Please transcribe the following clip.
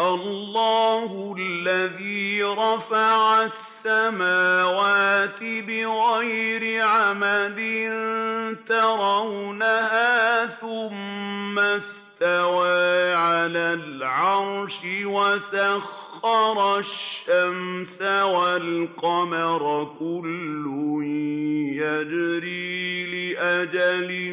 اللَّهُ الَّذِي رَفَعَ السَّمَاوَاتِ بِغَيْرِ عَمَدٍ تَرَوْنَهَا ۖ ثُمَّ اسْتَوَىٰ عَلَى الْعَرْشِ ۖ وَسَخَّرَ الشَّمْسَ وَالْقَمَرَ ۖ كُلٌّ يَجْرِي لِأَجَلٍ